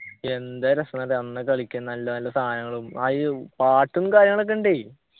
എന്താ രസന്നന്നറിയോ അന്നൊക്കെ കളിക്കാൻ നല്ല നല്ല സാനങ്ങളും അയ്യോ പാട്ടും കാര്യങ്ങളൊക്കെ ഉണ്ടേ